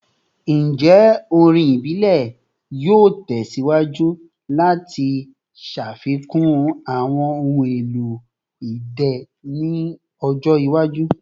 Njẹ orin ibile yoo tẹsiwaju lati ṣafikun awọn ohun elo idẹ ni ọjọ iwaju?